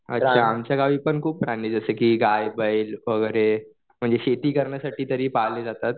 आमच्या गावी पण खूप प्राणी जसं की गाय, बैल वगैरे म्हणजे शेती करण्यासाठी तर हे पाळले जातात.